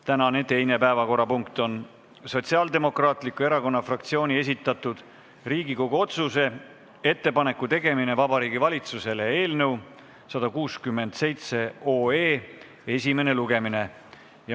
Tänane teine päevakorrapunkt on Sotsiaaldemokraatliku Erakonna fraktsiooni esitatud Riigikogu otsuse "Ettepaneku tegemine Vabariigi Valitsusele" eelnõu 167 esimene lugemine.